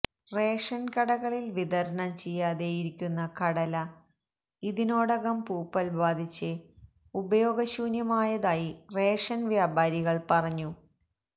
ration കടകളില് വിതരണം ചെയ്യാതെയിരിക്കുന്ന കടല ഇതിനോടകം പൂപ്പല് ബാധിച്ച് ഉപയോഗശൂന്യമായതായി റേഷന് വ്യാപാരികള് പറഞ്ഞു